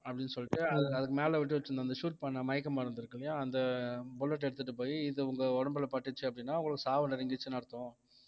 அப்படின்னு சொல்லிட்டு அது~ அதுக்கு மேல விட்டு வச்சிருந்த அந்த shoot பண்ண மயக்க மருந்து இருக்கு அந்த bullet எடுத்துட்டு போயி இது உங்க உடம்புல பட்டுச்சு அப்படின்னா உங்களுக்கு சாவு நெருங்கிடுச்சுன்னு அர்த்தம்